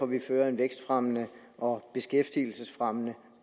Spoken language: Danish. vi fører en vækstfremmende og beskæftigelsesfremmende